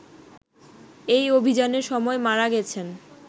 এই অভিযানের সময় মারা গেছেন